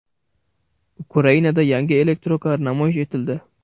Ukrainada yangi elektrokar namoyish etildi .